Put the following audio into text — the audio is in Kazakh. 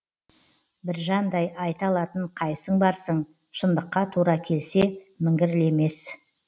біржандай айта алатын қайсың барсың шындыққа тура келсе міңгірлемес